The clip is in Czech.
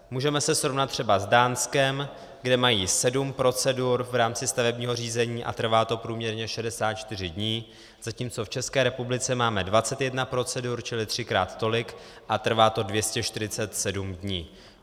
Můžeme se srovnat třeba s Dánskem, kde mají sedm procedur v rámci stavebního řízení a trvá to průměrně 64 dní, zatímco v České republice máme 21 procedur, čili třikrát tolik, a trvá to 247 dní.